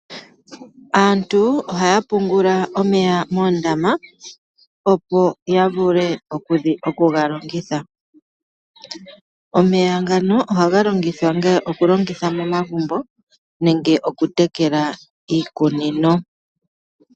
Aantu ohaa pungula omeya moondama opo yavule okugalongitha, omeya ngano ohaga longitha nge okulongitha momagumbo nenge okutekela iikunino.